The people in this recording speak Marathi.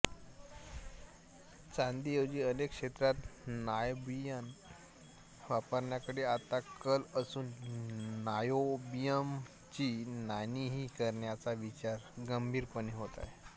चांदीऐवजी अनेक क्षेत्रात नायोबियम वापरण्याकडे आता कल असून नायोबियमची नाणीही करण्याचा विचार गंभीरपणे होत आहे